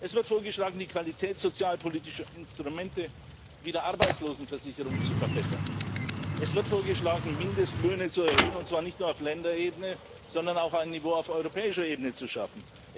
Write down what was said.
Es wird vorgeschlagen, die Qualität sozialpolitischer Instrumente wie der Arbeitslosenversicherung zu verbessern. Es wird vorgeschlagen, Mindestlöhne zu erhöhen, und zwar nicht nur auf Länderebene, sondern auch ein Niveau auf europäischer Ebene zu schaffen.